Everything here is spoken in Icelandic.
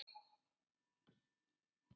Mér leiðist þessi dagur.